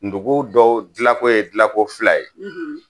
Ndugu dɔw dilanko ye dilanko fila ye